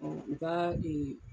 Ɔ u ka ee